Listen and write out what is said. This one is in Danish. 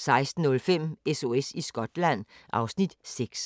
16:05: SOS i Skotland (Afs. 6)